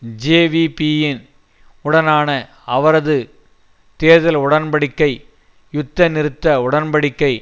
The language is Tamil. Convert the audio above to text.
ஜேவிபியின் உடனான அவரது தேர்தல் உடன் படிக்கை யுத்தநிறுத்த உடன் படிக்கை